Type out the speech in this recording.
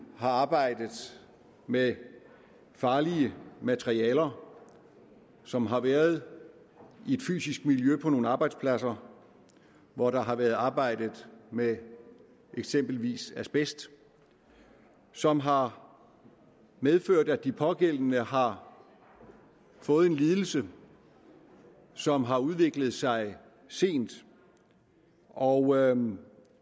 har arbejdet med farlige materialer og som har været i et fysisk miljø på nogle arbejdspladser hvor der har været arbejdet med eksempelvis asbest som har medført at de pågældende har fået en lidelse som har udviklet sig sent og